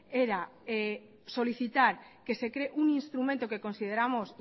era solicitar que se cree un instrumento que consideramos